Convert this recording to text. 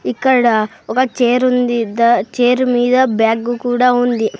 ఇక్కడ ఒక చేర్ ఉంది ద చేరు మీద బ్యాగ్ కూడా ఉంది.